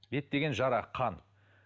бет деген жара қан